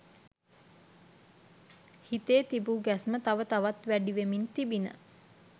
හිතේ තිබූ ගැස්ම තව තවත් වැඩිවෙමින් තිබිණ.